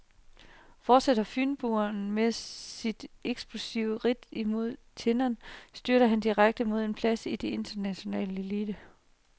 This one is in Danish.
Fortsætter fynboen sit eksplosive ridt mod tinderne, styrer han direkte mod en plads i den internationale elite.